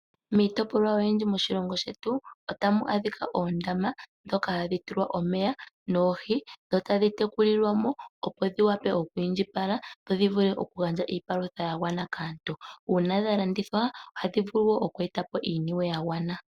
Miitopolwa oyindji moshilongo shetu, otamu adhika oondama ndhoka hadhi tulwa omeya noohi, dho tadhi tekulilwa mo opo dhi wape oku indjipala dho dhi vule okugandja iipalutha ya gwana kaantu, uuna dha landithwa ohadhi vulu wo oku eta po iiyemo ya gwana.